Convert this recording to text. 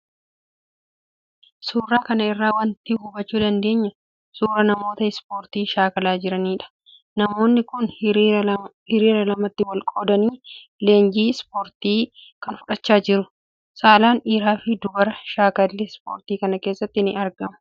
Suuraa kan irraa waanti hubachuu dandeenyu, suura namoota ispoortii shaakalaa jiranidha. namoonni kun hiriira lamatti wal qoodanii leenjii ispoortii kana fudahchaa jiru. Saalaan dhiirrii fi dubarri shaakallii ispoortii kana keessatti ni argamu.